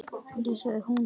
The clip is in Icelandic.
Nei sagði hún.